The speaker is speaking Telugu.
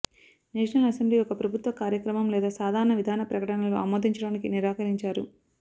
నేషనల్ అసెంబ్లీ ఒక ప్రభుత్వ కార్యక్రమం లేదా సాధారణ విధాన ప్రకటనలు ఆమోదించడానికి నిరాకరించారు